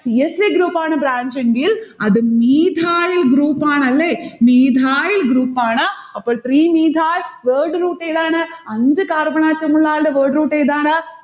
c h group ആണ് branch എങ്കിൽ അത് methyl group ആണ്. അല്ലെ? methyl group ആണ്. അപ്പൊൾ three methyl word root ഏതാണ്? അഞ്ചു carbon atom ഉള്ള ആൾടെ word root ഏതാണ്?